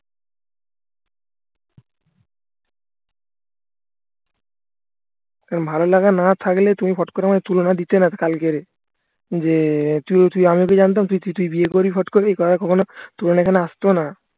আর ভালো লাগা না থাকলে তুমি ফট করে আমায় তুলনা দিতে না কালকে যে আমি ওকে জানতাম তুই বিয়ে করবি ফট করবি এ কথা কখনো